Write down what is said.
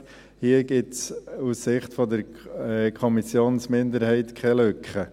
Hier gibt es aus Sicht der Kommissionsminderheit keine Lücke.